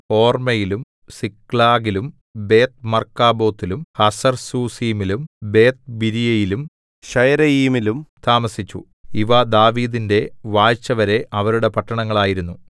ഹൊർമ്മയിലും സിക്ലാഗിലും ബേത്ത്മർക്കാബോത്തിലും ഹസർസൂസീമിലും ബേത്ത്ബിരിയിലും ശയരയീമിലും താമസിച്ചു ഇവ ദാവീദിന്റെ വാഴ്ചവരെ അവരുടെ പട്ടണങ്ങൾ ആയിരുന്നു